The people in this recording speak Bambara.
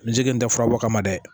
N jigi n tɛ fura bɔ o kama dɛ